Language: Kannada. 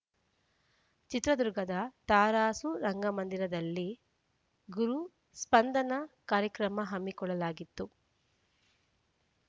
ಚಿತ್ರದುರ್ಗದ ತರಾಸು ರಂಗಮಂದಿರದಲ್ಲಿ ಗುರು ಸ್ಪಂದನಾ ಕಾರ್ಯಕ್ರಮ ಹಮ್ಮಿಕೊಳ್ಳಲಾಗಿತ್ತು